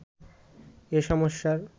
এ সমস্যার